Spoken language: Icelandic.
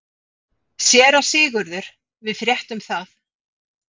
SÉRA SIGURÐUR: Við fréttum það.